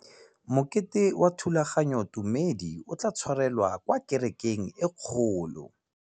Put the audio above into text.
Mokete wa thulaganyôtumêdi o tla tshwarelwa kwa kerekeng e kgolo.